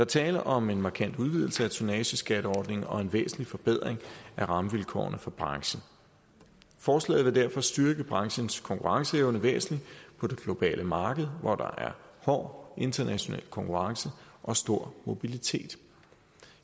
tale om en markant udvidelse af tonnageskatteordningen og en væsentlig forbedring af rammevilkårene for branchen forslaget vil derfor styrke branchens konkurrenceevne væsentligt på det globale marked hvor der er hård international konkurrence og stor mobilitet